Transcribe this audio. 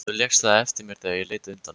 Þú lékst það eftir mér þegar ég leit undan.